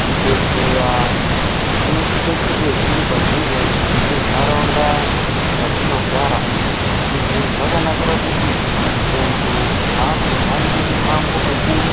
Zvibhedhlera zvinosisa kunge zviri padhuze nenharaunda matinogara izvi zvakanakira kuti muntu azohambi mumango mukuru